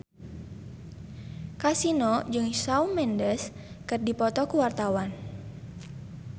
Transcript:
Kasino jeung Shawn Mendes keur dipoto ku wartawan